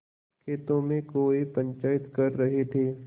खेतों में कौए पंचायत कर रहे थे